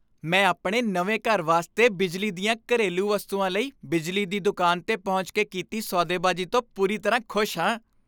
ਮੈਂ ਆਪਣੇ ਨਵੇਂ ਘਰ ਵਾਸਤੇ ਬਿਜਲੀ ਦੀਆਂ ਘਰੇਲੂ ਵਸਤੂਆਂ ਲਈ ਬਿਜਲੀ ਦੀ ਦੁਕਾਨ 'ਤੇ ਪਹੁੰਚ ਕੇ ਕੀਤੀ ਸੌਦੇਬਾਜ਼ੀ ਤੋਂ ਪੂਰੀ ਤਰ੍ਹਾਂ ਖੁਸ਼ ਹਾਂ।